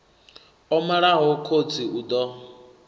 o malaho khotsi u ḓo